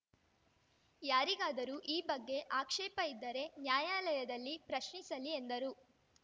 ಯಾರಿಗಾದರೂ ಈ ಬಗ್ಗೆ ಆಕ್ಷೇಪ ಇದ್ದರೆ ನ್ಯಾಯಾಲಯದಲ್ಲಿ ಪ್ರಶ್ನಿಸಲಿ ಎಂದರು